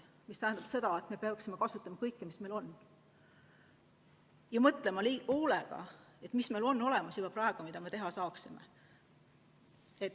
See tähendab seda, et me peaksime kasutama kõiki lahendusi, mis meil on, ja mõtlema hoolega, mis meil on olemas juba praegu, mida me teha saaksime.